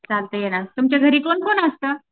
चालतंय ना तुमच्या घरी कोण कोण असतं?